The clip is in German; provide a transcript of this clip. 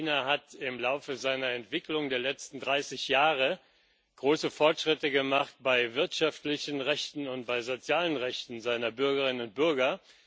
China hat im Laufe seiner Entwicklung der letzten 30 Jahre große Fortschritte gemacht bei wirtschaftlichen Rechten und bei sozialen Rechten seiner Bürgerinnen und Bürger.